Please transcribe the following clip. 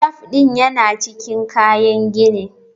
Taf ɗin yana cikin kayan gini.